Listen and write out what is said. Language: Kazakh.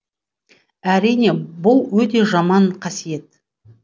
әрине бұл өте жаман қасиет